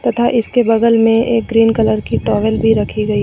तथा इसके बगल में एक ग्रीन कलर की टॉवल भी रखी गई।